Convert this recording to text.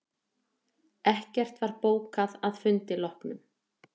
Ekkert var bókað að fundi loknum